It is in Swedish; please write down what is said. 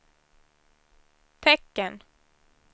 tecken